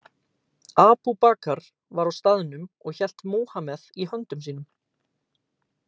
Abu Bakr var á staðnum og hélt Múhameð í höndum sínum.